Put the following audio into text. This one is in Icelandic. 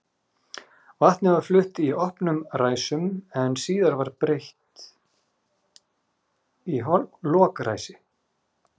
Vatnið var flutt í opnum ræsum sem síðar var breytt í lokræsi.